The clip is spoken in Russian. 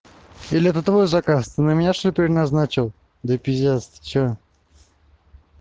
или это твой заказ на меня что ли переназначил да пиздец ты что